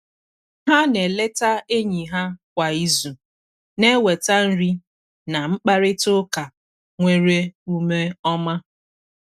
Ha na eleta enyi ha kwa izu, na-eweta nri na mkparịta ụka nwere ume ọma.